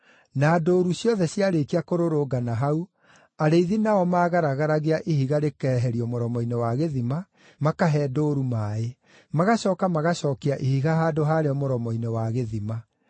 Na ndũũru ciothe ciarĩkia kũrũrũngana hau, arĩithi nao maagaragaragia ihiga rĩkeherio mũromo-inĩ wa gĩthima, makahe ndũũru maaĩ. Magacooka magacookia ihiga handũ harĩo mũromo-inĩ wa gĩthima.